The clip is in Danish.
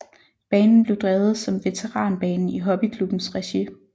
Banen blev drevet som veteranbane i hobbyklubbens regi